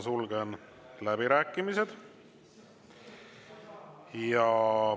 Sulgen läbirääkimised.